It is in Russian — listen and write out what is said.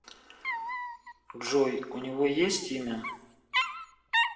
джой у него есть имя